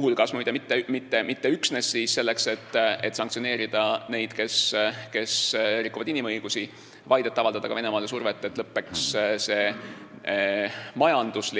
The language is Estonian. Ja muide mitte üksnes selleks, et sanktsioneerida neid, kes rikuvad inimõigusi, vaid et avaldada ka Venemaale survet, et lõppeks see majandust